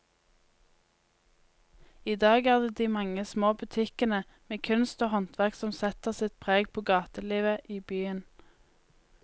I dag er det de mange små butikkene med kunst og håndverk som setter sitt preg på gatelivet i byen.